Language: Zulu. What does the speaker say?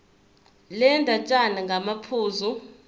le ndatshana ngamaphuzu